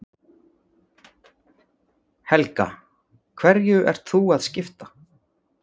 Helga: Hverju ert þú að skipta?